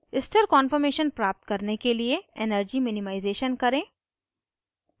स्थिर कान्फॉर्मेशन प्राप्त करने के लिए energy minimization करें